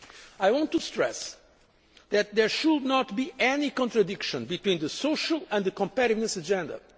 I want to stress that there should not be any contradiction between the social and the competitiveness agenda.